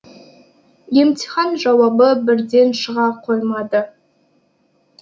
емтихан жауабы бірден шыға қоймады